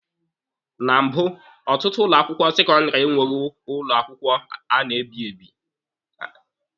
Na mbụ, ọtụtụ ụlọ akwụkwọ sekọndịrị enweghị ụlọ akwụkwọ a na-ebi ebi.